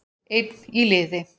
Einn í liði